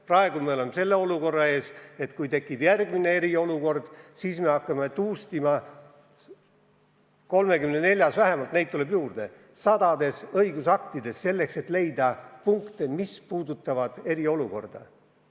Praegu on nii, et kui tekib järgmine eriolukord, siis me hakkame läbi tuustima vähemalt 34 õigusakti – neid tuleb juurde, sadades –, et leida punkte, mis puudutavad eriolukorda.